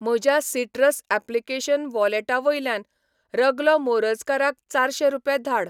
म्हज्या citrus application वॉलेटा वयल्यान रगलो मोरजकाराक चारशे रुपया धाड